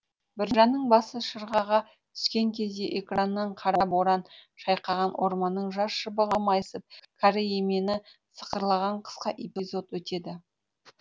біржанның басы шырғаға түскен кезде экраннан қара боран шайқаған орманның жас шыбығы майысып кәрі емені сықырлаған қысқа эпизод өтеді